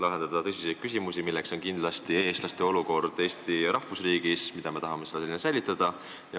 Lahendada on tõsiseid küsimusi, millest üks on kindlasti eestlaste olukord Eesti rahvusriigis, mida me tahame säilitada.